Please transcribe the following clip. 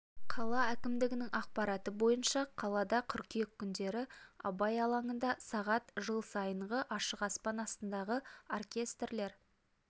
қала әкімдігінің ақпараты бойынша қалада қыркүйек күндері абай алаңында сағат жыл сайынғы ашық аспан астындағы оркестрлер